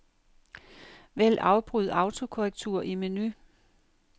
Vælg afbryd autokorrektur i menu.